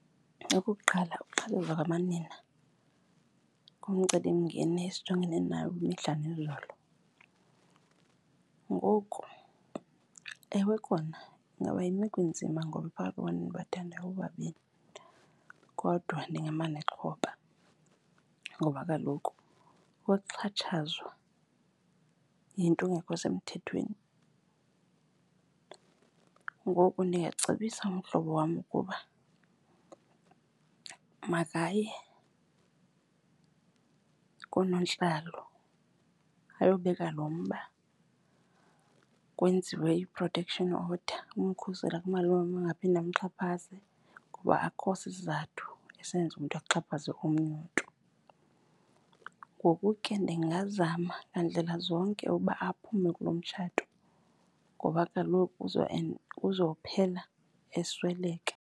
Okokuqala, ukuxhatshazwa kwamanina ngumcelimngeni esijongene nawo imihla nezolo. Ngoku ewe kona ingaba yimeko enzima ngoba endibathandayo bobabini kodwa ndingama nexhoba ngoba kaloku ukuxhatshazwa yinto engekho semthethweni. Ngoku ndingacebisa umhlobo wam ukuba makaye koonontlalo ayobika lo mba kwenziwe i-protection order ukumkhusela kumalume angaphinde amxhaphaze. Ngoba akukho sisizathu senza umntu axhaphaze omnye umntu. Ngoku ke ndingazama ngandlela zonke ukuba aphume kuloo mtshato ngoba kaloku kuzophela esweleka.